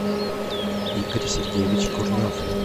игорь сергеевич курнев